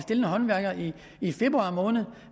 en håndværker i i februar måned